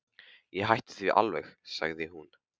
Ég hætti því aldrei, sagði hún.